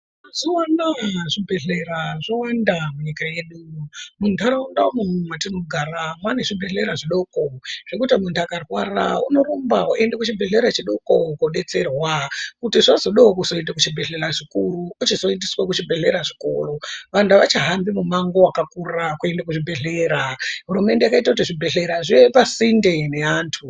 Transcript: Mazuano zvibhehlera zvawanda munyika yedu, munharaunda umwo mwatinogara mwaane zvibhehlera zvidoko zvekuti muntu akarwarwa unorumba woende kuchibhehlera chidoko kodetserwa kuti zvazodao kuzoende kuchibhehlera chikuru ochi zoendeswe kuchibhelera chikuru, vantu avachahambi mumango wakakura kuenda pachibhehlera. Hurumende yakaite kuti zvibhehlera zvive pasinde nevantu.